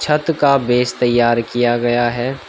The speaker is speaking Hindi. छत का बेस तैयार किया गया है।